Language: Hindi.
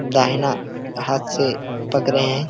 दाहिना हाथ से पकड़े हैं।